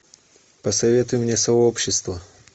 посоветуй мне сообщество